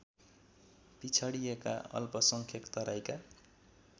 पिछडिएका अल्पसंख्यक तराईका